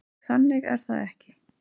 Þannig er það ekki.